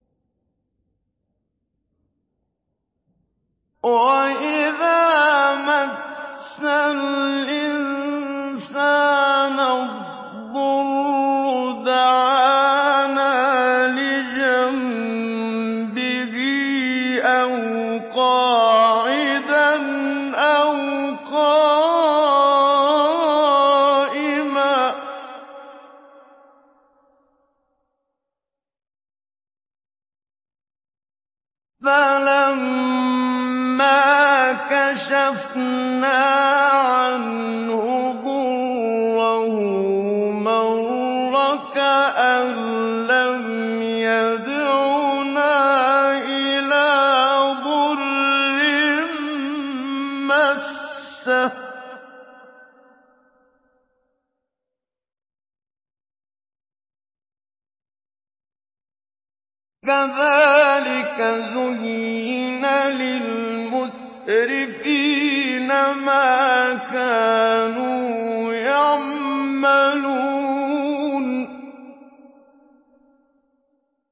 وَإِذَا مَسَّ الْإِنسَانَ الضُّرُّ دَعَانَا لِجَنبِهِ أَوْ قَاعِدًا أَوْ قَائِمًا فَلَمَّا كَشَفْنَا عَنْهُ ضُرَّهُ مَرَّ كَأَن لَّمْ يَدْعُنَا إِلَىٰ ضُرٍّ مَّسَّهُ ۚ كَذَٰلِكَ زُيِّنَ لِلْمُسْرِفِينَ مَا كَانُوا يَعْمَلُونَ